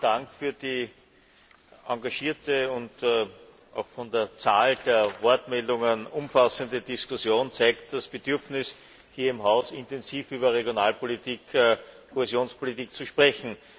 Zunächst vielen Dank für die engagierte und auch von der Zahl der Wortmeldungen umfassende Diskussion. Das zeigt das Bedürfnis, hier im Haus intensiv über Regional und Kohäsionspolitik zu sprechen.